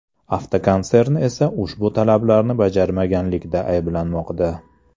Avtokonsern esa ushbu talablarni bajarmaganlikda ayblanmoqda.